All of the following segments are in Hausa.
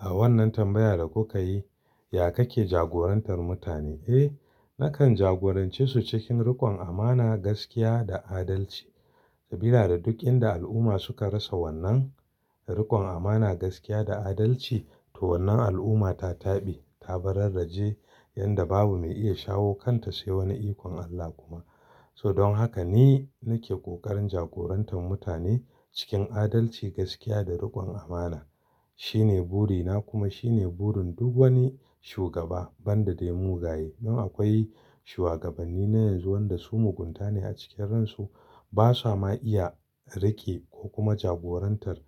A wannan tambayar da kuka yi, ya kake jagorantar mutane? Eh, nakan jagorance su cikin rikon amana, gaskiya da adalci. Sabida da duk inda al'umma suka rasa wannan rikon amana, gaskiya da adalci, to wannan al'umma ta taɓi, ta bararraje yanda babu mai iya shawo kanta sai wani ikon Allah kuma. So don haka ni nake ƙoƙarin jagorantar mutane cikin adalci, gaskiya da rikon amana. Shine burina kuma shine burin duk wani shugaba banda dai mugaye. Dan akwai shuwagabanni na yanzu wanda su mugunta ne a cikin ransu, ba samu iya rike ko kuma jagorantar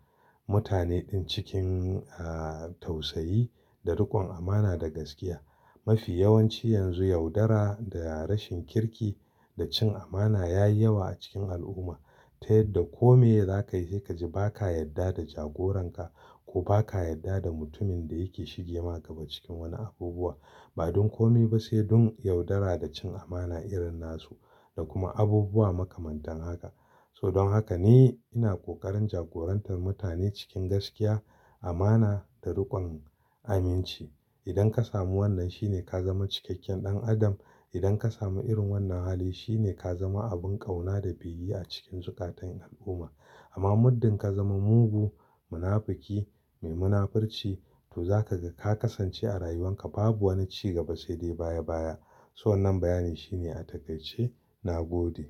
mutane ɗin cikin, eh, tausayi da rikon amana da gaskiya. Mafi yawanci yanzu yaudara da rashin kirki da cin amana yayi yawa a cikin al'umma, ta yadda kome za ka yi sai ka ji ba ka yadda da jagoran ka, ko ba ka yadda da mutumin da yake shige ma gaba cikin wani abubuwa. Ba don kome ba sai dun yaudara da cin amana irin nasu da kuma abubuwa makamantan haka. So don haka ni ina ƙoƙarin jagorantar mutane cikin gaskiya, amana da rikon aminci. Idan ka samu wannan shine ka zama cikakken ɗan adam. Idan ka samu irin wannan hali shine ka zama abun ƙauna da biyayya a cikin zukatan al'umma. Amma muddin ka zama mugu, munafuki, mai munafurci to za ka ga ka kasance a rayuwan ka babu wani ci gaba sai dai baya baya. So wannan bayanin shine a takaice na gode.